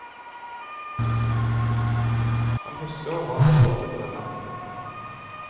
Han husker hva han har lovet henne.